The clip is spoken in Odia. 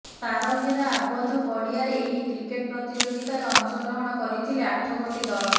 ତାର ଘେରା ଆବଦ୍ଧ ପଡିଆରେ ଏହି କ୍ରିକେଟ୍ ପ୍ରତିଯୋଗିତାରେ ଅଂଶଗ୍ରହଣ କରିଥିଲେ ଆଠଗୋଟି ଦଳ